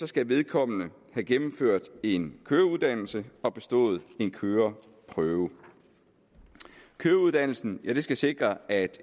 skal vedkommende have gennemført en køreuddannelse og have bestået en køreprøve køreuddannelsen skal sikre at